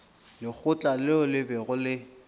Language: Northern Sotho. lekgotla leo le bego le